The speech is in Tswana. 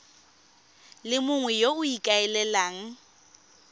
le mongwe yo o ikaelelang